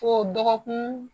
Ko dɔgɔkun